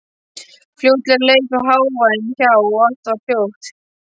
Fljótlega leið þó hávaðinn hjá og allt varð hljótt.